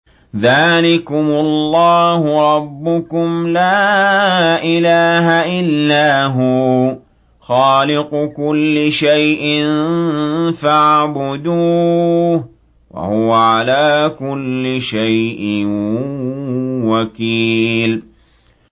ذَٰلِكُمُ اللَّهُ رَبُّكُمْ ۖ لَا إِلَٰهَ إِلَّا هُوَ ۖ خَالِقُ كُلِّ شَيْءٍ فَاعْبُدُوهُ ۚ وَهُوَ عَلَىٰ كُلِّ شَيْءٍ وَكِيلٌ